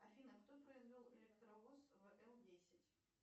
афина кто произвел электровоз вл десять